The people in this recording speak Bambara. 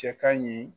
Cɛ ka ɲi